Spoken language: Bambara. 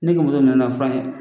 Ne ka muso nan'a fɔ ne ye